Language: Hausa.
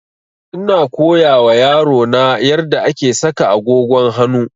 Ina koya wa yaro na yarda ake saka agogon hanu